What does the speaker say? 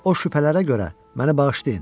O şübhələrə görə məni bağışlayın.